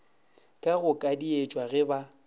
ke go kadietšwa ge ba